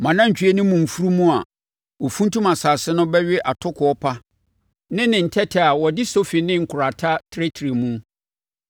Mo anantwie ne mo mfunumu a wɔfuntum asase no bɛwe atokoɔ pa ne ne ntɛtɛ a wɔde sofi ne nkorata trɛtrɛ mu.